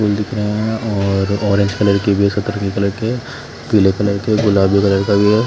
फूल दिख रहा है और ऑरेंज कलर के हो सकता और कलर के पीले कलर के गुलाबी कलर के भी है।